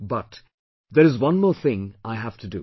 But, there is one more thing I have to do